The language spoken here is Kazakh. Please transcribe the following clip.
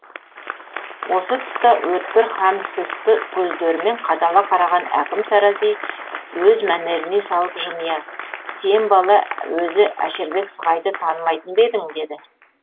осы тұста өткір һәм сұсты көздерімен қадала қараған әкім тарази өз мәнеріне салып жымия сен бала өзі әшірбек сығайды танымайтын ба едің деді